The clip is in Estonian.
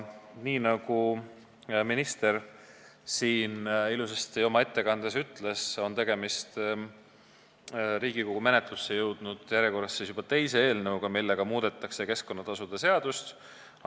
Nii nagu minister siin oma ettekandes ilusasti ütles, on tegemist järjekorras juba teise Riigikogu menetlusse jõudnud eelnõuga, millega muudetakse keskkonnatasude seadust.